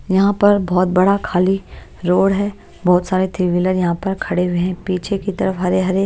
यहां पर बहोत बड़ा खाली रोड है बहोत सारे थ्री व्हीलर यहां पर खड़े हुए पीछे की तरफ हरे हरे--